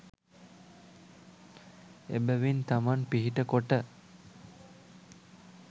එබැවින් තමන් පිහිට කොට